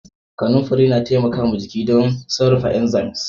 Kanumfari na taimaka jiki da sarrafa inzams.